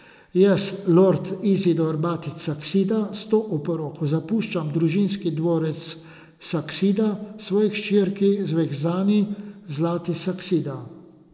Jaz, lord Izidor Batič Saksida, s to oporoko zapuščam družinski dvorec Saksida svoji hčerki Zvezdani Zlati Saksida.